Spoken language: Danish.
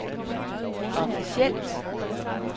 officielt